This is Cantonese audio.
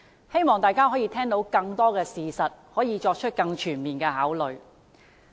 希望大家可以聽到更多事實，作出更全面的考慮。